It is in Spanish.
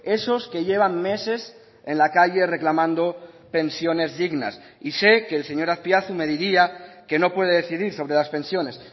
esos que llevan meses en la calle reclamando pensiones dignas y sé que el señor azpiazu me diría que no puede decidir sobre las pensiones